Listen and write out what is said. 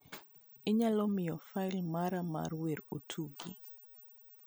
inyalo miyo fail mara mar wer otugi